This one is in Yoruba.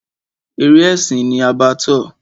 Eré ẹ̀sìn ni Abattoir.